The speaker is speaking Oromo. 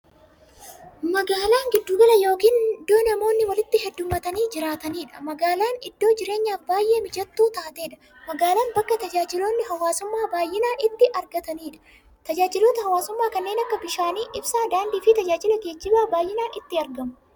Magaalaan giddu gala yookiin iddoo namoonni walitti heddummatanii jiraataniidha. Magaalaan iddoo jireenyaaf baay'ee mijattuu taateedha. Magaalaan bakka taajajilootni hawwaasummaa baay'inaan itti argataniidha. Tajaajiloota hawwaasummaa kanneen akka bishaan, ibsaa, daandiifi tajaajilla geejjibaa baay'inaan itti argamudha.